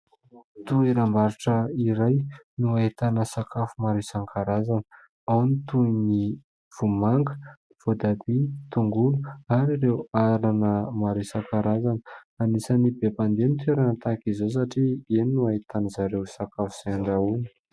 Toeram-barotra iray no ahitana sakafo maro isan-karazana . Ao ny vomanga , voatabia , tongolo ary ireo anana maro isan-karazana . Anisany be mpandeha itony toerana itony satria ao no ahitany zareo izay sakafo ahandrahona.